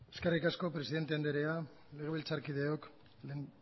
eskerrik asko presidente andrea legebiltzarkideok